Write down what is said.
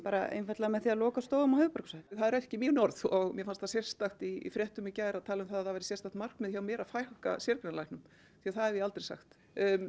einfaldlega með því að loka stofum á höfuðborgarsvæðinu það eru ekki mín orð og mér fannst það sérstakt í fréttum í gær að tala um það að það væri sérstakt markmið hjá mér að fækka sérgreinalæknum því það hef ég aldrei sagt